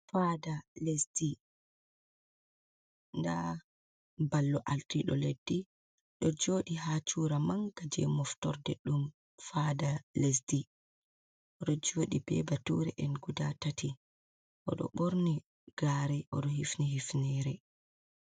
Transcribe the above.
Fada lesdi nda ballo ardiɗo leɗɗi ɗo joɗi ha cura manga je moftorde ɗum fada lesdi odo joɗi ɓe bature en guda tati oɗo ɓorni gare oɗo hifni hifinire.